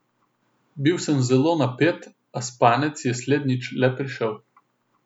Bil sem zelo napet, a spanec je slednjič le prišel.